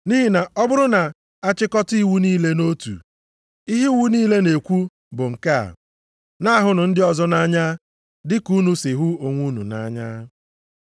Nʼihi na ọ bụrụ na a chịkọta iwu niile nʼotu, ihe iwu niile na-ekwu bụ nke a, “Na-ahụnụ ndị ọzọ nʼanya dịka unu si hụ onwe unu nʼanya.” + 5:14 \+xt Lev 19:18\+xt*